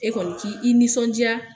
E kɔni k'i i nisɔndiya